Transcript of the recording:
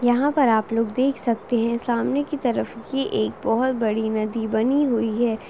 यहाँ पर आप लोग देख सकते हैं सामने कि तरफ ये एक बहुत बड़ी नदी बनी हुई है।